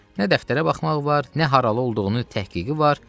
Nə dəftərə baxmaq var, nə haralı olduğunu təhqiqi var.